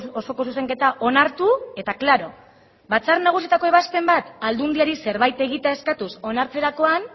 osoko zuzenketa onartu eta klaro batzar nagusietako ebazpen bat aldundiari zerbait egitea eskatuz onartzerakoan